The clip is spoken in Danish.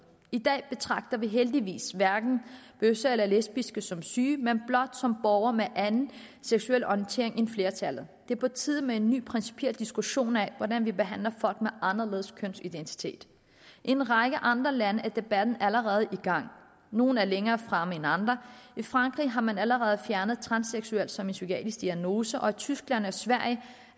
i dag betragter vi heldigvis hverken bøsser eller lesbiske som syge men blot som borgere med anden seksuel orientering end flertallet det er på tide med en ny principiel diskussion af hvordan vi skal behandle folk med anderledes kønsidentitet i en række andre lande er debatten allerede i gang nogle er længere fremme end andre i frankrig har man allerede fjernet transseksuel som psykiatrisk diagnose og tyskland og sverige